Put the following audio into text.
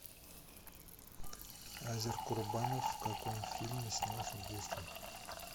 азер курбанов в каком фильме снялся в детстве